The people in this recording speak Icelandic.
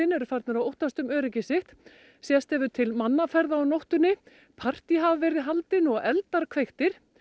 eru farnir að óttast um öryggi sitt sést hefur til mannaferða á nóttunni partí hafa verið haldin hér og eldar kveiktir